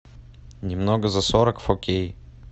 немного за сорок фо кей